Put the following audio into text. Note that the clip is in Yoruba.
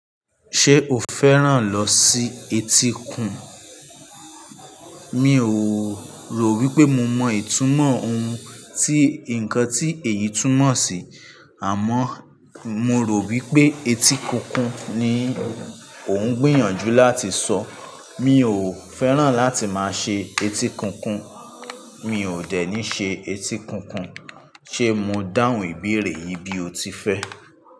Ṣé o fẹ́ràn lọ sí etíkun? Mi ò rò wípé mo mọ ìtumọ̀ ohun tí ǹkan tí èyí túmọ̀ sí, àmọ́ mo rò wípé etí kun kun ni ò ń gbìyànjú láti sọ. Mi ò fẹ́ràn láti máa ṣe etí kun kun, mi ò dẹ̀ ní ṣe etí kun kun. Ṣé mo dáhùn ìbéèrè yìí bí o ti fẹ́?